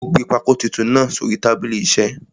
Ó gbé pákó titun náà sórí tábìlì isẹ́.